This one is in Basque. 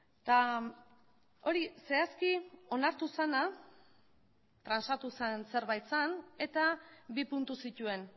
eta hori zehazki onartu zena transatu zen zerbait zen eta bi puntu zituen